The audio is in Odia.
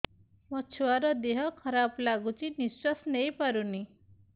ମୋ ଛୁଆର ଦିହ ଖରାପ ଲାଗୁଚି ନିଃଶ୍ବାସ ନେଇ ପାରୁନି